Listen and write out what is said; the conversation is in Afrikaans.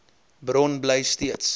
bron bly steeds